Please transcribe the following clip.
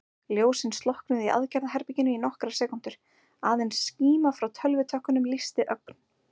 Ljósin slokknuðu í aðgerðaherberginu í nokkrar sekúndur, aðeins skíma frá tölvutökkunum lýsti ögn.